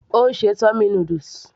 Ó ń ṣe tummy noodles